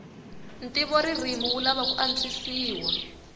ntivoririmi wu lava ku antswisiwa